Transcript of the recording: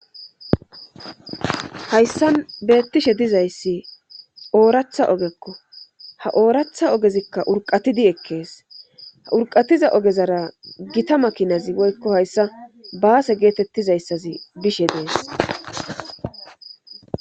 Hayssa beettishe dizayssi ooratha ogekko ha ooratha ogezikka urqatidi ekkees ha urqatiza ogezara gita makinazi woykko hayssa baase geetettizayssazi bishe dees